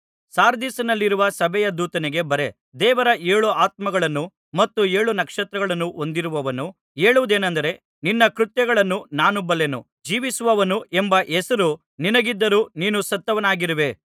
ಸಾರ್ದಿಸಿನಲ್ಲಿರುವ ಸಭೆಯ ದೂತನಿಗೆ ಬರೆ ದೇವರ ಏಳು ಆತ್ಮಗಳನ್ನು ಮತ್ತು ಏಳು ನಕ್ಷತ್ರಗಳನ್ನು ಹೊಂದಿರುವವನು ಹೇಳುವುದೇನಂದರೆ ನಿನ್ನ ಕೃತ್ಯಗಳನ್ನು ನಾನು ಬಲ್ಲೆನು ಜೀವಿಸುವವನು ಎಂಬ ಹೆಸರು ನಿನಗಿದ್ದರೂ ನೀನು ಸತ್ತವನಾಗಿರುವೆ